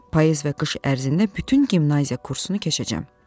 Payız və qış ərzində bütün gimnazya kursunu keçəcəyəm.